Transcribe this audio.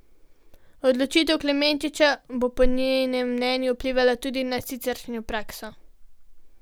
Odločitev Klemenčiča bo po njenem mnenju vplivala tudi na siceršnjo prakso.